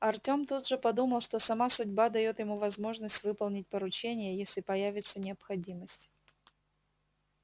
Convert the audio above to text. артём тут же подумал что сама судьба даёт ему возможность выполнить поручение если появится необходимость